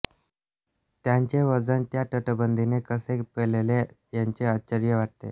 त्याचे वजन त्या तटबंदीने कसे पेलले याचे आश्चर्य वाटते